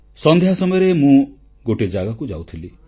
ସନ୍ଧ୍ୟା ସମୟରେ ମୁଁ ଗୋଟିଏ ଜାଗାକୁ ଯାଉଥିଲି